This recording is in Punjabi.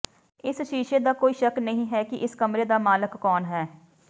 ਇਸ ਸ਼ੀਸ਼ੇ ਦਾ ਕੋਈ ਸ਼ੱਕ ਨਹੀਂ ਹੈ ਕਿ ਇਸ ਕਮਰੇ ਦਾ ਮਾਲਕ ਕੌਣ ਹੈ